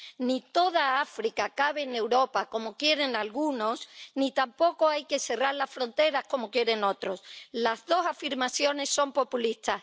Ni toda África cabe en Europa, como quieren algunos, ni tampoco hay que cerrar las fronteras, como quieren otros las dos afirmaciones son populistas.